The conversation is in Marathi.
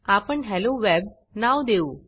आपण हेलोवेब हॅलो वेब नाव देऊ